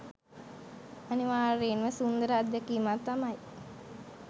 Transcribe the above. අනිවාර්යයෙන්ම සුන්දර අත්දැකීමක් තමයි